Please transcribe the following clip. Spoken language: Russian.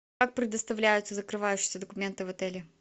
как предоставляются закрывающиеся документы в отеле